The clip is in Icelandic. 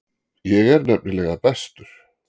Ég er nefnilega bestur.